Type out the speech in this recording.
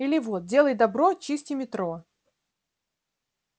или вот делай добро чисти метро